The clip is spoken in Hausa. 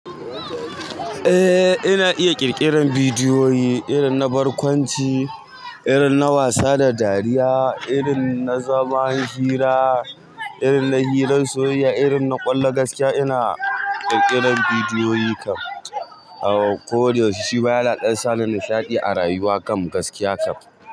Eh ina iya ƙirƙiran bidiyoyi irin na barkwanci, irin na wasa da dariya, irin na zaman hira, irin na hirar soyayya, irin na ƙwallon gaskiya. Ina ƙirƙiran bidiyoyi kam ko da yaushe. Shi ma ya na ɗan sa ni nishaɗi a rayuwa kam gaskiya kam.